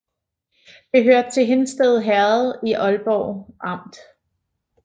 Det hørte til Hindsted Herred i Ålborg Amt